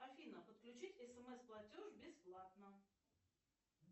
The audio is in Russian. афина подключить смс платеж бесплатно